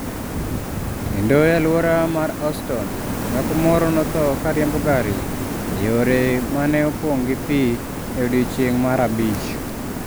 Kendo e alwora mar Houston, dhako moro notho ka riembo gari e yore ma ne opong’ gi pi e odiechieng’ mar abich.